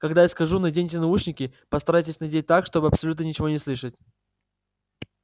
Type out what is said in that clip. когда я скажу наденьте наушники постарайтесь надеть так чтобы абсолютно ничего не слышать